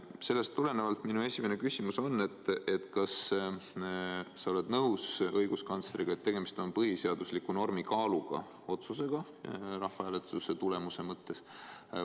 Sellest tulenevalt minu esimene küsimus on: kas sa oled nõus õiguskantsleriga, et rahvahääletuse tulemuse näol on tegemist põhiseadusliku normi kaaluga otsusega?